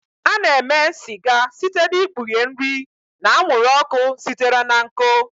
A na-eme sịga site n'ikpughe nri na anwụrụ ọkụ sitere na nkụ.